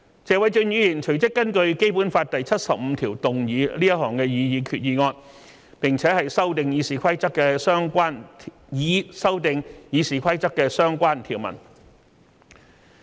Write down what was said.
謝偉俊議員隨即根據《基本法》第七十五條動議這項擬議決議案，以修訂《議事規則》的相關條文。